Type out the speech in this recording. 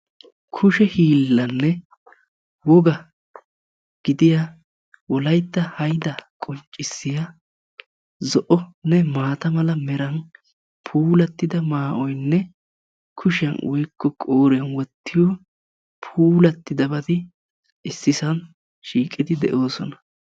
kushe hilanne woa gidiyaa Wolayta haydda qonccissiya zo'onne maata mara meran puulatida maa'oyinne kushiyaan woykko qooriyaan wottiyoo puulatidabati ississan shiqidi de'oossona.